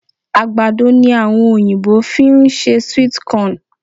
Àgbàdo ni àwọn Oyìnbó fi ń ṣe sweet corn